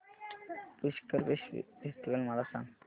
Pushkar festival मला सांग